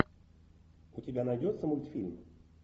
у тебя найдется мультфильм